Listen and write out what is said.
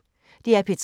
DR P3